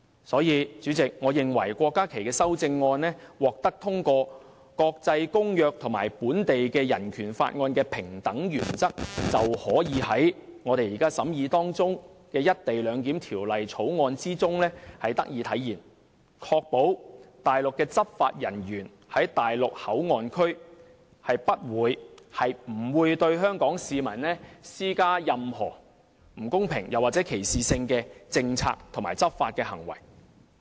所以，代理主席，我認為郭家麒議員的修正案如獲得通過，國際公約和本地的《人權法案條例》的平等原則便可以在我們現正審議的《條例草案》中體現，以確保內地的執法人員在內地口岸區不會對香港市民施加任何不公平或歧視性的政策和執法行為。